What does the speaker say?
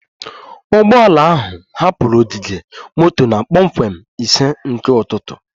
Ụgbọ ala ahụ hapụrụ ogige moto na kpọmkwem ise nke ụtụtụ